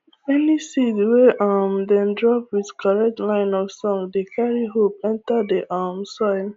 any seed wey um dem drop with correct line of song dey carry hope enter the um soil